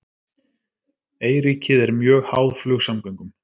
Eyríkið er mjög háð flugsamgöngum